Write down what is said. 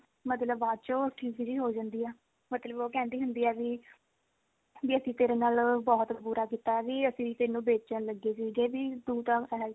ਮਤਲਬ ਬਾਅਦ ਚੋਂ ਠੀਕ ਜੀ ਹੋ ਜਾਂਦੀ ਆ ਮਤਲਬ ਵੀ ਉਹ ਕਹਿੰਦੀ ਹੁੰਦੀ ਆ ਵੀ ਵੀ ਅਸੀਂ ਤੇਰੇ ਨਾਲ ਬਹੁਤ ਬੁਰਾ ਕੀਤਾ ਵੀ ਅਸੀਂ ਤੈਨੂੰ ਵੇਚਣ ਲੱਗੇ ਸੀਗੇ ਵੀ ਤੂੰ ਤਾਂ ਇਹ